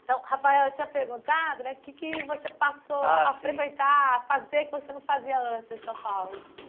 Então, Rafael, eu tinha perguntado né o que que você passou a frequentar, a fazer, que você não fazia antes em São Paulo.